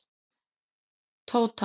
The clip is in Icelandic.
Tóta